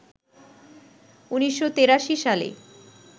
১৯৮৩ সালে